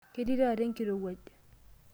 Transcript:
Ketii taata enkirowuaj.